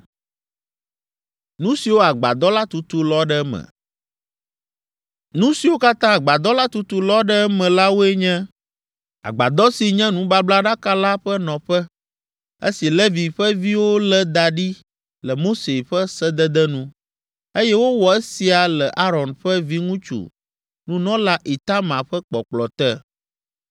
Nu siwo katã agbadɔ la tutu lɔ ɖe eme la woe nye: agbadɔ si nye nubablaɖaka la ƒe nɔƒe, esi Levi ƒe viwo lé da ɖi le Mose ƒe sedede nu, eye wowɔ esia le Aron ƒe viŋutsu, nunɔla Itamar ƒe kpɔkplɔ te.